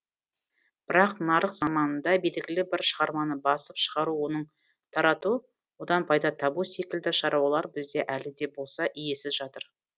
бірақ нарық заманында белгілі бір шығарманы басып шығару оны тарату одан пайда табу секілді шаруалар бізде әлі де болса иесіз жатыр